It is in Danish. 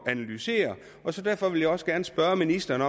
at analysere derfor vil jeg også gerne spørge ministeren